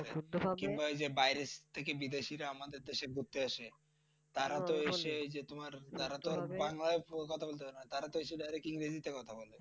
তারাতো এসে এই যে তোমার তারাতো বাংলায় কথা বলতে পাড়েনা তারাতো এসে direct ইংরেজিতে কথা বলে।